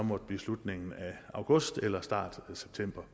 måtte blive slutningen af august eller starten af september